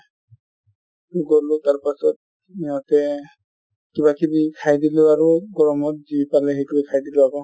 গ'লো তাৰ পিছত সিহতে কিবা কিবা খাই দিলো আৰু গৰমত যি পালো সেইটোয়ে খাই দিলো আকৌ